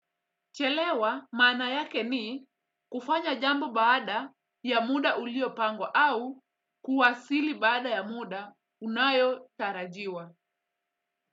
Chelewa maana yake ni kufanya jambo baada ya muda uliopangwa au kuwasili baada ya muda unaotarajiwa.